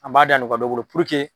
An b'a da nɔgɔya dɔ boloko